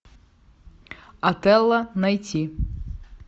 отелло найти